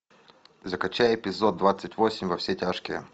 закачай эпизод двадцать восемь во все тяжкие